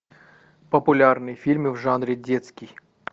популярные фильмы в жанре детский